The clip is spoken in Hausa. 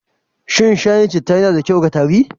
Shin shayin cita yana da kyau ga tari?